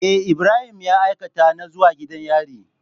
Me Ibrahim ya aikata na zuwa gidan yari?